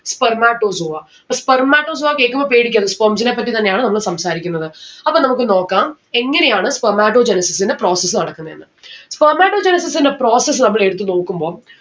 spermatozoa അപ്പൊ spermatozoa കേക്കുമ്പോ പേടിക്കരുത് sperms നേപ്പറ്റി തന്നെയാണ് നമ്മള് സംസാരിക്കുന്നത് അപ്പൊ നമ്മക്ക് നോക്കാം എങ്ങനെയാണ് spermatogenesis ന്റെ process നടക്കുന്നെ എന്ന്‌ Spermatogenesis ന്റെ process നമ്മള് എടുത്ത് നോക്കുമ്പം